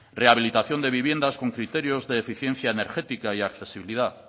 rehabilitación de viviendas con criterios de eficiencia energética y accesibilidad